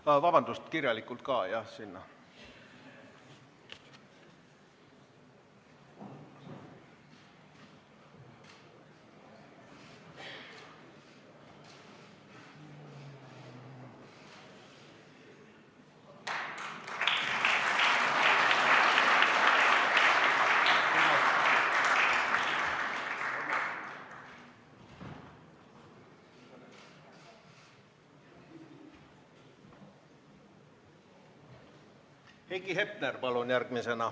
Heiki Hepner, palun järgmisena!